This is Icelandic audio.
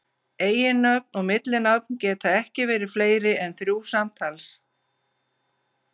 Eiginnöfn og millinafn geta ekki verið fleiri en þrjú samtals.